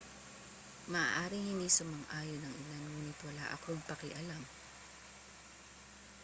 maaaring hindi sumang-ayon ang ilan ngunit wala akong pakialam